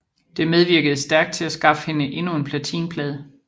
Det medvirkede stærkt til at skaffe hende endnu en platinplade